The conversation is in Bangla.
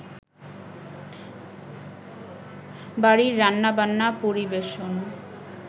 বাড়ির রান্নাবান্না, পরিবেশন,